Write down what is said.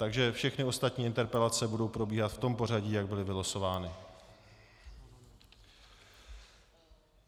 Takže všechny ostatní interpelace budou probíhat v tom pořadí, jak byly vylosovány.